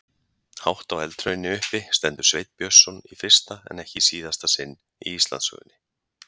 Hátt á eldhrauni uppi stendur Sveinn Björnsson í fyrsta en ekki síðasta sinn í Íslandssögunni.